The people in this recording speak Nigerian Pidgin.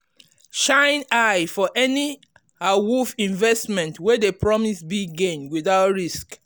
shine eye for any awoof investment wey dey promise big gain without risk.